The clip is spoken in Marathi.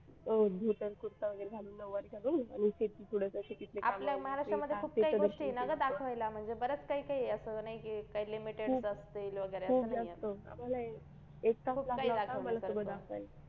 धोतर कुर्ता वगैरे घालून नऊवारी घालून आणि शेती थोडंसं शेतीतले काम